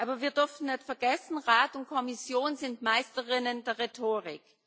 Aber wir dürfen nicht vergessen, Rat und Kommission sind Meisterinnen in der Rhetorik.